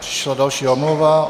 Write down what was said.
Přišla další omluva.